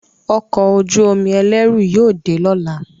Ọkọ̀ ojú-omi ẹlẹru yóò dé lọla.